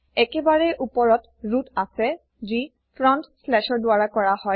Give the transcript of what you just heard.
একেবাৰে ওপৰত ৰুট আছেযি ফ্ৰণ্টশ্লেছ ৰ দ্বাৰা কৰা হয়